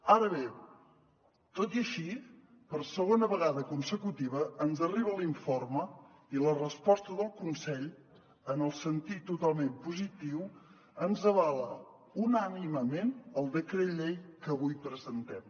ara bé tot i així per segona vegada consecutiva ens arriba l’informe i la resposta del consell en el sentit totalment positiu ens avala unànimement el decret llei que avui presentem